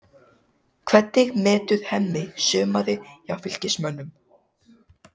Hvernig metur Hemmi sumarið hjá Fylkismönnum?